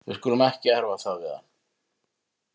Við skulum ekki erfa það við hann.